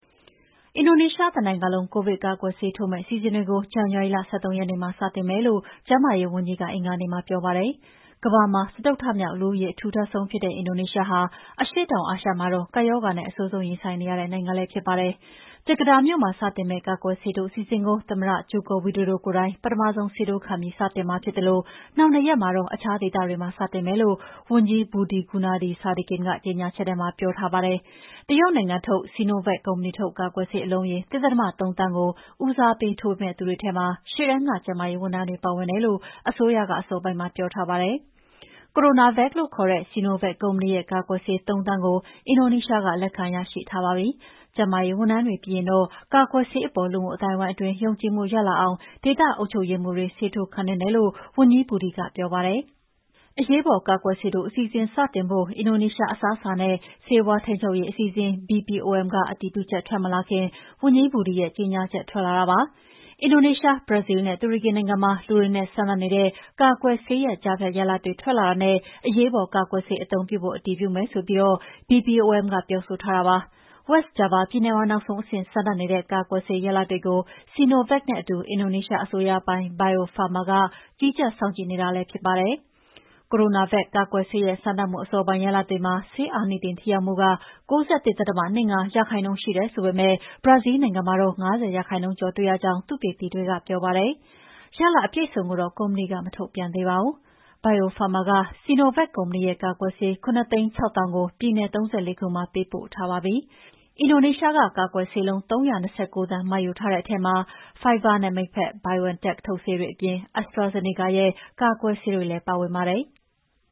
အင်ဒိုနီးရှားတနိုင်ငံလုံး ကိုဗစ်ကာကွယ်ဆေးထိုးမယ့် အစီအစဉ်တွေကို ဇန်နဝါရီလ ၁၃ ရက်နေ့မှာ စတင်မယ်လို့ ကျန်းမာရေးဝန်ကြီးက အင်္ဂါနေ့မှာပြောပါတယ်။ ကမ္ဘာမှာ စတုတ္ထမြောက်လူဦးရေ အထူထပ်ဆုံးဖြစ်တဲ့ အင်ဒိုနီးရှားဟာ အရှေ့တောင်အာရှမှာတော့ ကပ်ရောဂါနဲ့ အဆိုးဆုံးရင်ဆိုင်နေရတဲ့နိုင်ငံလည်း ဖြစ်ပါတယ်။ ဂျကာတာမြို့မှ စတင်မယ့် ကာကွယ်ဆေးထိုးအစီအစဉ်ကို သမ္မတ ဂျိုကို ဝီဒိုဒိုကိုယ်တိုင် ပထမဆုံးဆေးထိုးခံပြီးမှာဖြစ်သလို နောက်၂ ရက်မှာတော့ အခြားဒေသတွေမှာ စတင်မယ်လို့ ဝန်ကြီးBudi Gunadi Sadikin ရဲ့ကြေငြာချက်ထဲမှာ ပြောထားပါတယ်။ တရုတ်နိုင်ငံထုတ် Sinovac Biotech ကုမ္ပဏီထုတ် ကာကွယ်ဆေးအလုံးရေ ၁.၃ သန်းကို ဦးစားပေးထိုးပေးမယ့်သူတွေထဲမှာ ရှေ့တန်းက ကျန်းမာရေးဝန်ထမ်းတွေ ပါဝင်တယ်လို့ အစိုးရက အစောပိုင်းမှာပြောထားပါတယ်။ CoronaVac လို့ခေါ်တဲ့ Sinovac ကုမ္ပဏီရဲ့ ကာကွယ်ဆေး ၃,၀၀၀,၀၀၀ ကို အင်ဒိုနီးရှားက လက်ခံရရှိထားပါပြီ။ ကျန်းမာရေးဝန်ထမ်းတွေပြီးရင်တော့ ကာကွယ်ဆေးအပေါ် လူမှုအသိုင်းအဝိုင်းအတွင်း ယုံကြည်မှုရလာအောင် ဒေသအုပ်ချုပ်ရေးမှူးတွေ ဆေးထိုးခံသင့်တယ်လို့ ဝန်ကြီး Budi ကပြောပါတယ်။ အရေးပေါ် ကာကွယ်ဆေးထိုးအစီအစဉ် စတင်ဖို့ အင်ဒိုနီးရှားအစားအစာနဲ့ ဆေးဝါးထိန်းချုပ်ရေးအစီအစဉ် BPOM က အတည်ပြုချက်ထွက်မလာခင်မှာ ဝန်ကြီး Budi ရဲ့ကြေငြာချက်ထွက်လာတာပါ။ အင်ဒိုနီးရှား၊ ဘရာဇီးလ်နဲ့ တူရကီနိုင်ငံမှာ လူတွေနဲ့စမ်းသပ်နေတဲ့ ကာကွယ်ဆေးရဲ့ကြားဖြတ်ရလဒ်တွေ ထွက်လာတာနဲ့ အရေးပေါ်ကာကွယ်ဆေး အသုံးပြုဖို့ အတည်ပြုမယ်ဆိုပြီး BPOM ကပြောဆိုထားပါတယ်။ West Java ပြည်နယ်မှာ နောက်ဆုံးအဆင့် စမ်းသပ်နေတဲ့ကာကွယ်ဆေးရလဒ်တွေကို Sinovac နဲ့အတူ အင်ဒိုနီးရှားအစိုးရပိုင် Bio Farma ဆေးကုမ္ပဏီတို့ကြီးကြပ် စောင့်ကြည့်နေတာဖြစ်ပါတယ်။ CoronaVac ကာကွယ်ဆေးရဲ့ စမ်းသပ်မှု အစောပိုင်းရလဒ်တွေမှာ ဆေးအာနိသင်ထိရောက်မှု ၉၁.၂၅ ရာခိုင်နှုန်းရှိတယ်ဆိုပေမဲ့ ဘရာဇီးလ်နိုင်ငံမှာတော့ ၅၀ ရာခိုင်နှုန်းကျော်တွေ့ရကြောင့် သုတေသီတွေကပြောပါတယ်။ ရလဒ်အပြည့်အစုံကိုတော့ ကုမ္ပဏီက မထုတ်ပြန်သေးပါဘူး။ Bio Farma က Sinovac ကုမ္ပဏီရဲ့ ကာကွယ်ဆေးလုံး ၇၆၀,၀၀၀ ကို ပြည်နယ် ၃၄ ခုမှာပေးပို့ထားပြီးပါပြီ။ အင်ဒိုနီးရှားက ကာကွယ်ဆေးလုံး ၃၂၉ သန်းမှာယူထားတဲ့အထဲမှာ Pfizerနဲ့ မိတ်ဖက် BioNTech ထုတ်ဆေးတွေအပြင် AztraZeneca ရဲ့ ကာကွယ်ဆေးတွေကိုလည်း ပါဝင်ပါတယ်။